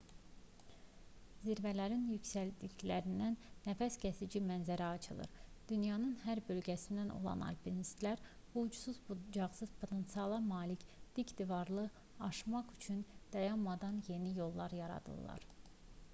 zirvələrin yüksəkliklərindən nəfəskəsici mənzərə açılır dünyanın hər bölgəsindən olan alpinistlər bu ucsuz-bucaqsız potensiala malik dik divarları aşmaq üçün dayanmadan yeni yollar yaradırlar